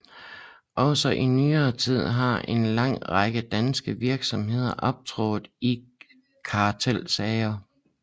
Også i nyere tid har en lang række danske virksomheder optrådt i kartelsager